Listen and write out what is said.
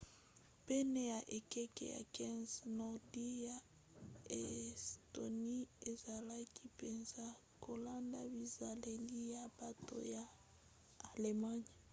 pene ya ekeke ya 15 nordi ya estonie ezalaki mpenza kolanda bizaleli ya bato ya allemagne